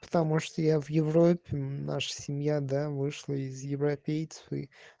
потому что я в европе наша семья да вышла из европейцев и